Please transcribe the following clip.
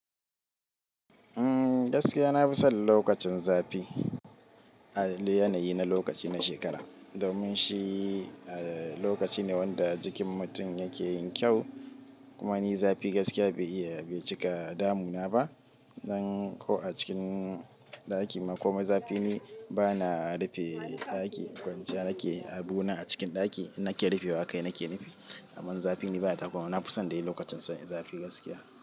Mm gaskiya na fi son lokacin zafi a yanayi na lokaci na shekara, domin shi lokaci ne wanda jikin mutum yake yin kyau. Kuma ni zafi gaskiya bai iya bai cika damu na ba. Dan ko acikin ɗaki ma komai zafi ni bana rufe ɗaki kwanciya nake abuna a cikin ɗaki. Nake rufewa kai nake nufi. Amma zafi ni baya takura min na fi son dai lokacin zafi gaskiya.